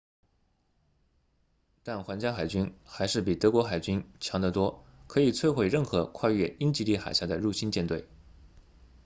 但皇家海军还是比德国海军 kriegsmarine” 强得多可以摧毁任何跨越英吉利海峡的入侵舰队